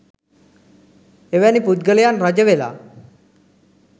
එවැනි පුද්ගලයන් රජ වෙලා